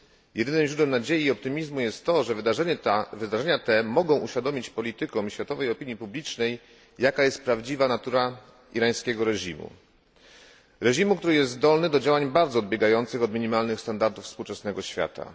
Jedynym źródłem nadziei i optymizmu jest to, że wydarzenia te mogą uświadomić politykom i światowej opinii publicznej, jaka jest prawdziwa natura irańskiego reżimu, który jest zdolny do działań bardzo odbiegających od minimalnych standardów współczesnego świata.